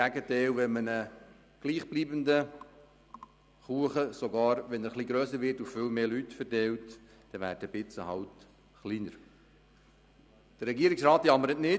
Verteilt man einen gleichbleibenden Kuchen auf viel mehr Leute, dann werden die Stücke halt kleiner, sogar wenn der Kuchen etwas grösser wird.